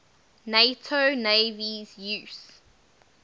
nato navies use